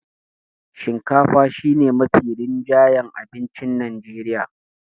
shinkafa shi ne Mafi rinjayen abincin Najreriya